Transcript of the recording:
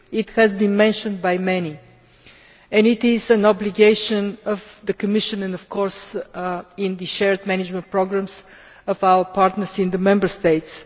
This has been mentioned by many and it is an obligation of the Commission and, of course, in the shared management programmes of our partners in the Member States.